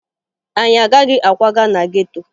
Anyị agaghị akwaga na geto